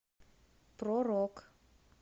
про рок